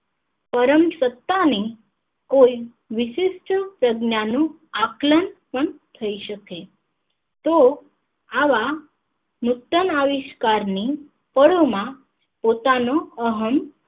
પરમ સતાની કોઈ વિશિષ્ટ સંજ્ઞા નું આકલન થઇ શકે તો આવા નૂતન આવિષ્કાર ની પરોમાં પોતાનો અહમ